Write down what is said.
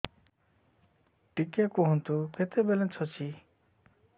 ଟିକେ କୁହନ୍ତୁ କେତେ ବାଲାନ୍ସ ଅଛି